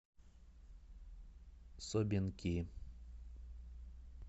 собинки